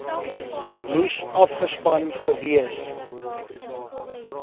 moes afgespan gewees